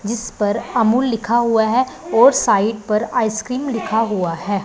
जिस पर अमूल लिखा हुआ है और साइड पर आइसक्रीम लिखा हुआ है।